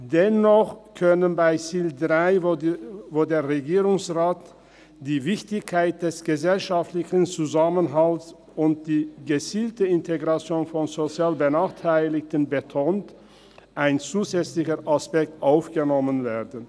Dennoch kann bei Ziel 3, wo der Regierungsrat die Wichtigkeit des gesellschaftlichen Zusammenhalts und die gezielte Integration von sozial Benachteiligten betont, ein zusätzlicher Aspekt aufgenommen werden.